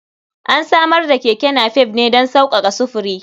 An samar da keke napep ne don sauƙaƙa sufuri.